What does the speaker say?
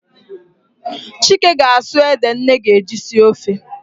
Chike ga-asụ ede nne ga-eji sie ofe